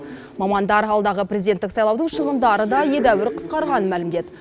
мамандар алдағы президенттік сайлаудың шығындары да едәуір қысқарғанын мәлімдеді